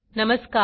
नमस्कार